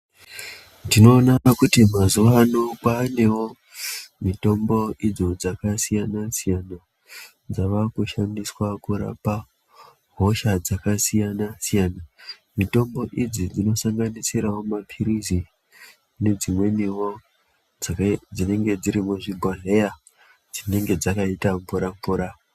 Tinoona kuti mazuwa ano kwaanewo mitombo idzo dzakasiyana siyana. Dzava kushandswa kurapa hosha dzakasiyana siyana. Mitombo idzi dzinosanganisirawo mapirizi nedzimweniwo dzine dzinenge dziri muzvibhondleya dzinenge dzakaita mvura mvura.